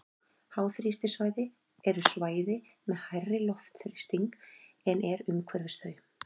háþrýstisvæði eru svæði með hærri loftþrýsting en er umhverfis þau